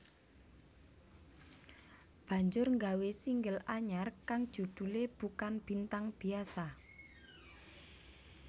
banjur nggawe single anyar kang judhulé Bukan Bintang Biasa